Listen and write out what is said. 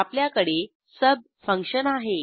आपल्याकडे सुब फंक्शन आहे